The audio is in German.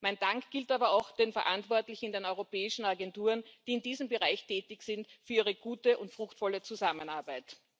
Mein Dank gilt aber auch den Verantwortlichen in den europäischen Agenturen, die in diesem Bereich tätig sind, für ihre gute und fruchtvolle Zusammenarbeit.